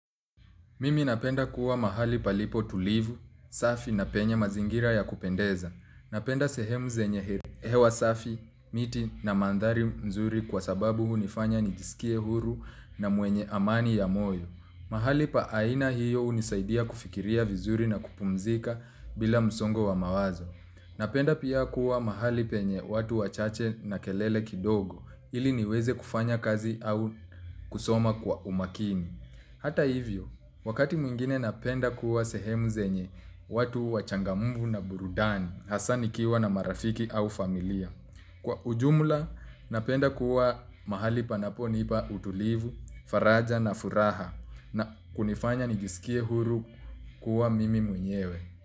Mimi napenda kuwa mahali palipotulivu, safi na penye mazingira ya kupendeza. Napenda sehemu zenye hewa safi, miti na mandhari mzuri kwa sababu hunifanya nijiskie huru na mwenye amani ya moyo. Mahali pa aina hiyo hunisaidia kufikiria vizuri na kupumzika bila msongo wa mawazo. Napenda pia kuwa mahali penye watu wachache na kelele kidogo, ili niweze kufanya kazi au kusoma kwa umakini. Hata hivyo, wakati mwingine napenda kuwa sehemu zenye watu wachangamfu na burudani, hasa nikiwa na marafiki au familia. Kwa ujumla, napenda kuwa mahali panaponipa utulivu, faraja na furaha na kunifanya nijisikie huru kuwa mimi mwenyewe.